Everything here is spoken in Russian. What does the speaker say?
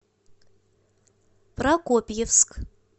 прокопьевск